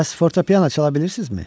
Bəs fortepiano çala bilirsizmi?